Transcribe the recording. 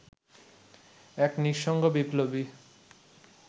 এক নিঃসঙ্গ বিপ্লবী